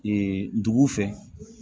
dugu fɛ